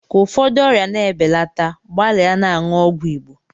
Ka ụfọdụ ọrịa na-ebelata gbalịa na-aṅụ ọgwụ Igbo.